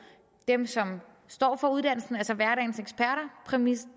dem som står for uddannelsens præmisser